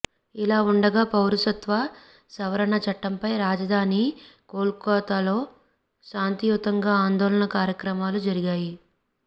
ఇలా ఉండగా పౌరసత్వ సవరణ చట్టంపై రాజధాని కోల్కతాలో శాంతియుతంగా ఆందోళన కార్యక్రమాలు జరిగాయి